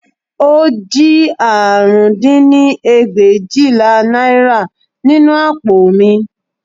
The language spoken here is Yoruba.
Ó jí àrún dín ní ẹgbẹ̀éjìlá náírà nínú àpò mi